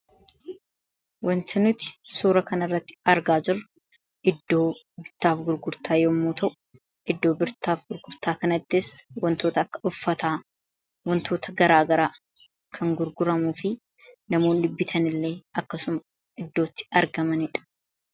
wanta nuti suura kana irratti argaa jiru iddoo birtaaf gurgurtaa yommuu ta'u iddoo birtaaf gurgurtaa kanaddees wantoota akka uffataa wantoota garaagaraa kan gurguramuu fi namoon dhibbitan illee akkasuma iddootti argamandha